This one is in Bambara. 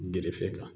Gerefe la